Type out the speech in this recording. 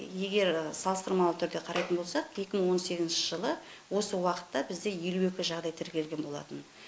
егер салыстырмалы түрде қарайтын болсақ екі мың он сегізінші жылы осы уақытта бізде елу екі жағдай тіркелген болатын